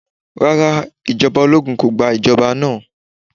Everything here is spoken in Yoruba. Rárá, ijọba ologun ko gba ijọba naa.